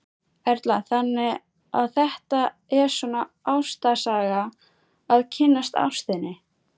Erla: Þannig að þetta er svona ástarsaga, að kynnast ástinni?